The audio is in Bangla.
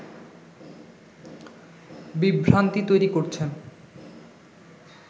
বিভ্রান্তি তৈরি করছেন